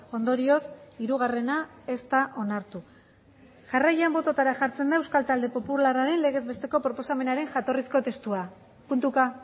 ondorioz hirugarrena ez da onartu jarraian bototara jartzen da euskal talde popularraren legez besteko proposamenaren jatorrizko testua puntuka